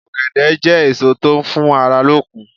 Ògèdè jé èso tó n fún ara lókun